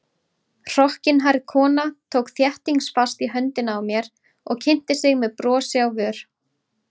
Hrokkinhærð kona tók þéttingsfast í höndina á mér og kynnti sig með brosi á vör.